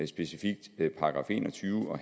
specifikt § en og tyve og